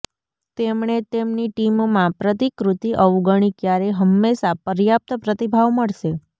તેમણે તેમની ટીમમાં પ્રતિકૃતિ અવગણી ક્યારેય હંમેશા પર્યાપ્ત પ્રતિભાવ મળશે